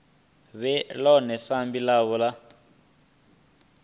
vhe ḽone sambi ḽavho ḽa